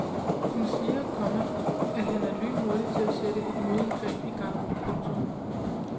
Hun siger, komma at han er lynhurtig til at sætte et modangreb i gang. punktum